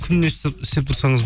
күнде істеп тұрсаңыз